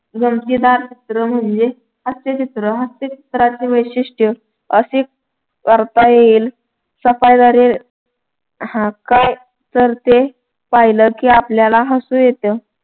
गमतीदार चित्र म्हणजे हास्यचित्र हास्यचित्राची वैशिष्ट्य अशी करता येईल सफाई झाली हा काय तर ते पाहिलं की आपल्याला हसू येतं.